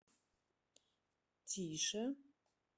тише